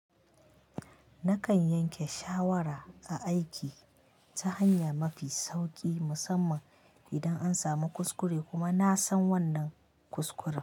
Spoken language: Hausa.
Nakan yanke shawara ta aiki ta hanya mafi sauƙi musamman idan an samu kuskure kuma na san wannan kuskuren.